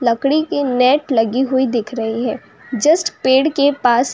लकड़ी के नेट लगी हुई दिख रही है जस्ट पेड़ के पास --